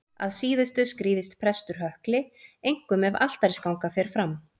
Að síðustu skrýðist prestur hökli, einkum ef altarisganga fer fram.